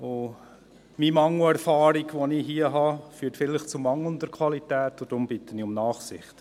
Mein Mangel an Erfahrung, die ich hier habe, führt vielleicht zu mangelnder Qualität, und ich bitte deswegen um Nachsicht.